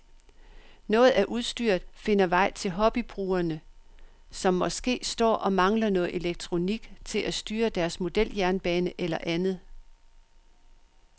Noget af udstyret finder vej til hobbybrugere, som måske står og mangler noget elektronik til at styre deres modeljernbane eller andet.